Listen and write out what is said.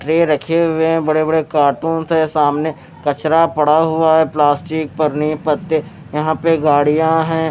Tray रखे हुए हैं बड़े-बड़े कार्टूनस है सामने कचरा पड़ा हुआ है प्लास्टिक पनी पत्ते यहां पे गाड़ियां हैं।